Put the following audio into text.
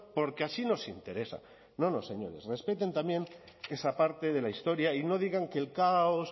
porque así nos interesa no no señores respeten también esa parte de la historia y no digan que el caos